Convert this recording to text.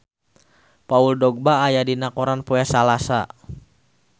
Paul Dogba aya dina koran poe Salasa